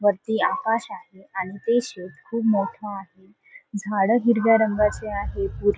वरती आकाश आहे आणि ते शेड खूप मोठ आहे झाड हिरव्या रंगाची आहेत. --